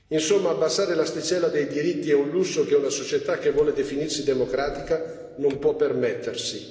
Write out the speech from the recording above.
Insomma, abbassare l'asticella dei diritti è un lusso che una società che vuole definirsi democratica non può permettersi.